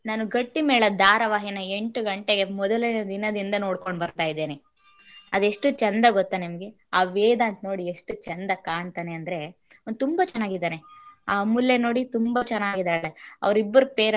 ನಾನು ಗಟ್ಟಿಮೇಳ ಧಾರವಾಹೀನ ಎಂಟು ಗಂಟೆಗೆ ಮೊದಲನೇ ದಿನದಿಂದ ನೋಡ್ಕೊಂಡು ಬರ್ತಾ ಇದ್ದೇನೆ. ಅದು ಎಷ್ಟು ಚಂದಾ ಗೊತ್ತ, ನಿಮಿಗೆ ಆ ವೇದಾಂತ ನೋಡಿ ಎಷ್ಟ ಚಂದಾ ಕಾಣ್ತಾನೇ ಅಂದ್ರೆ ಅವನ್ ತುಂಬಾ ಚೆನ್ನಾಗಿದ್ದಾನೆ. ಆ ಅಮೂಲ್ಯ ನೋಡಿ ತುಂಬಾ ಚೆನ್ನಾಗಿದ್ದಾಳೆ ಅವರ ಇಬ್ಬರ್ pair.